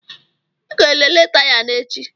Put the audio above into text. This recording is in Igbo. Ị ga-elele taya na echi.